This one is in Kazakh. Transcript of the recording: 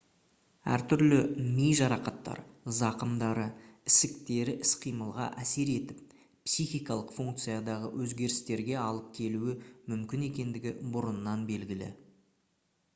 әр түрлі ми жарақаттары зақымдары ісіктері іс-қимылға әсер етіп психикалық функциядағы өзгерістерге әлып келуі мүмкін екендігі бұрыннан белгілі